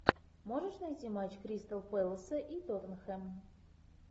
можешь найти матч кристал пэласа и тоттенхэм